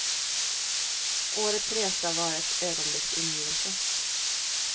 Årets resa var ett ögonblicks ingivelse.